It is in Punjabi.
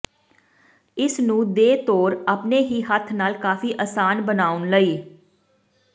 ਇਸ ਨੂੰ ਦੇ ਤੌਰ ਆਪਣੇ ਹੀ ਹੱਥ ਨਾਲ ਕਾਫ਼ੀ ਆਸਾਨ ਬਣਾਉਣ ਲਈ